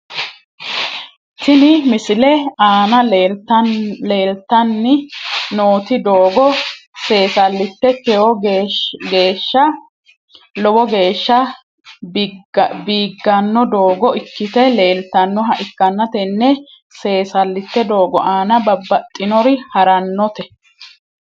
Tini misilete aana leeltani nooti doogo seesalite lowo geesha biigano doogo ikite leeltanoha ikanna tene seesalite doogo aana babaxinori haranote .